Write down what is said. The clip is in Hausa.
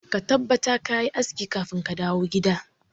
Ka tabbatar kayi aski kafin kadawo gida.